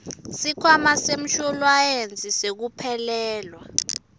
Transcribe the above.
sikhwama semshuwalensi wekuphelelwa